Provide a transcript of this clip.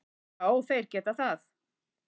Já þeir geta það.